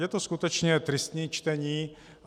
Je to skutečně tristní čtení.